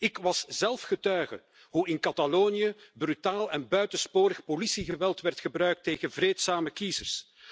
Ik was zelf getuige hoe in Catalonië brutaal en buitensporig politiegeweld werd gebruikt tegen vreedzame kiezers.